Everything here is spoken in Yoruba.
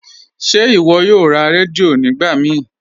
Ṣe iwọ yòò rá rẹdíò nígbà mí?